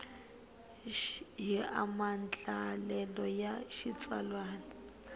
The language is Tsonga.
hi maandlalelo ya xitsalwana ya